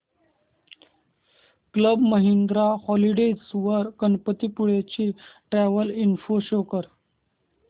club Mahindra holidays वर गणपतीपुळे ची travel info show कर